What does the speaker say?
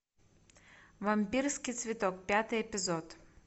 вампирский цветок пятый эпизод